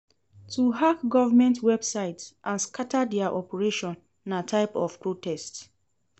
To hack government websites and scatter their operation na type of protest